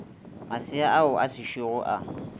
masea ao a sešogo a